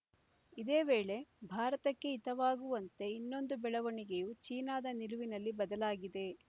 ಇದೇ ವೇಳೆ ಭಾರತಕ್ಕೆ ಹಿತವಾಗುವಂತೆ ಇನ್ನೊಂದು ಬೆಳವಣಿಗೆಯೂ ಚೀನಾದ ನಿಲುವಿನಲ್ಲಿ ಬದಲಾಗಿದೆ